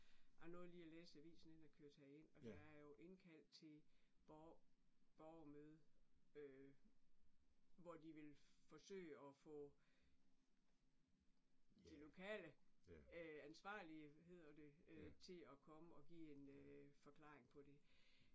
Jeg nåede lige at læse avisen inden jeg kørte herind og der er jo indkaldt til borgermøde øh, hvor de vil forsøge og få de lokale øh ansvarlige hedder det øh til at komme og give en øh forklaring på det